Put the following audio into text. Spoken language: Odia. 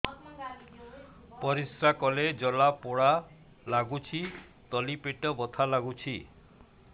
ପରିଶ୍ରା କଲେ ଜଳା ପୋଡା ଲାଗୁଚି ତଳି ପେଟ ବଥା ଲାଗୁଛି